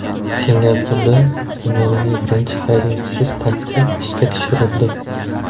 Singapurda dunyodagi birinchi haydovchisiz taksi ishga tushirildi .